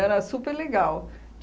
super legal.